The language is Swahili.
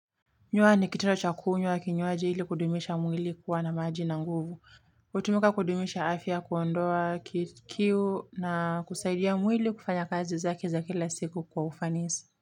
Nyua ni kitendo cha kunywa kinywaji hili kudumisha mwili kuwa na maji na nguvu hutumika kudumisha afya kuondoa kiu na kusaidia mwili kufanya kazi zake za kila siku kwa ufanisi.